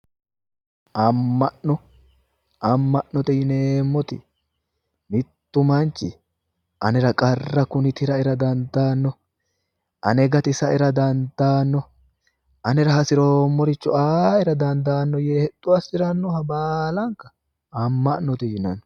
Amma'no, amma'note yineemmoti mittu manchi anera qarra kuni turaaera dandaannoe, ane gatisaeera dandaanno anera hasiroommoricho a"era daandaae yee hexxo assirannoha baalanka amma'note yinanni